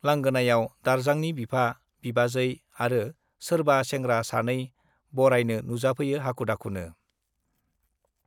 लांगोनायाव दारजांनि बिफा, बिबाजै आरो सोरबा सेंग्रा सानै बरायनो नुजाफैयो हाखु-दाखुनो।